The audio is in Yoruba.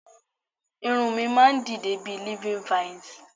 Irun mi máa n dide bi living vines